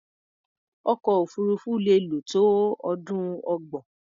Ọkọ̀-òfurufú lè lò tó ọdún ọgbọ̀n.